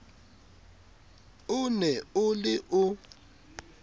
o ne o le o